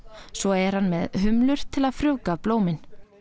svo er hann með til að frjóvga blómin